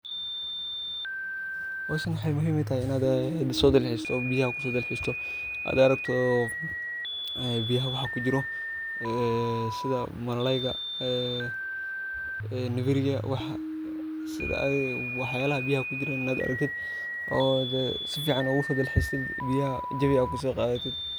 Hooshan waxay muhim u tahay inay laso dalxeestoh, handa rabtoh, ee beeyaha waxakujiroh, ee setha malayga ee weerika waxaa setha adiga waxayalahaya beeyaha kujiroh Ina aragteed oo sufican ugu dalxeested beeyaha jawi AA kusoqathated .